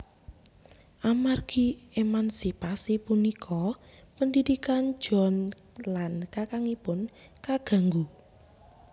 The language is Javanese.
Amargi emansipasi punika pendidikan John lan kakangipun kaganggu